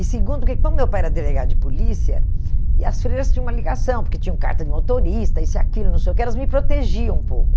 E segundo, porque como meu pai era delegado de polícia, e as freiras tinham uma ligação, porque tinham carta de motorista, isso e aquilo, não sei o que, elas me protegiam um pouco.